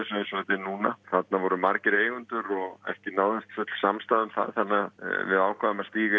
núna þarna voru margir eigendur og ekki náðist full samstaða um það þannig við ákváðum að stíga